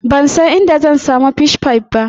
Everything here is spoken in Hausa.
Ban san inda zan samu Fish pie ba.